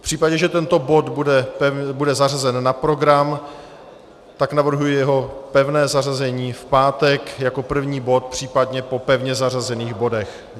V případě, že tento bod bude zařazen na program, tak navrhuji jeho pevné zařazení v pátek jako první bod, případně po pevně zařazených bodech.